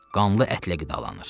Qanlı ətlə qidalanır.